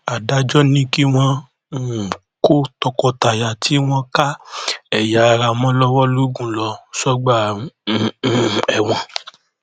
adájọ ní kí wọn um kó tọkọtaya tí wọn ká ẹyà ara mọ lọwọ logun lọ sọgbà um ẹwọn